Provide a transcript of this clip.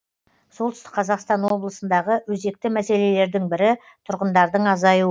солтүстік қазақстан облысындағы өзекті мәселелердің бірі тұрғындардың азаюы